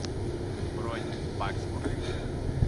бронь баксфорд